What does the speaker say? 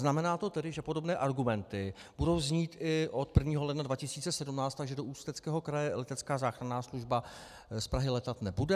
Znamená to tedy, že podobné argumenty budou znít i od 1. ledna 2017, takže do Ústeckého kraje letecká záchranná služba z Prahy létat nebude?